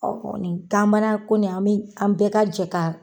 ko nin an mɛ an bɛɛ ka jɛn ka